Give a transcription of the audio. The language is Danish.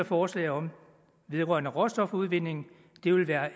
forslag om vedrørende råstofudvinding det vil være